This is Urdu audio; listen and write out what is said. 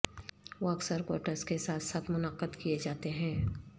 وہ اکثر کوٹس کے ساتھ ساتھ منعقد کئے جاتے ہیں